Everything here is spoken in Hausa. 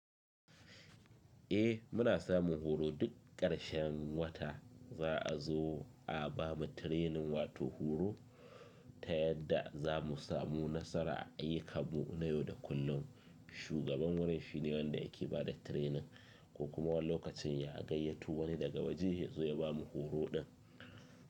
Eh muna samun horo duk ƙarshen wata za a zo a bamu training wato horo ta yadda za mu samu nasara a ayyukanmu na yau da kullum. Shugaban wurin shine wanda yake bada training ko kuma wani lokacin ya gayyato wani daga waje ya zo ya bamu horo din.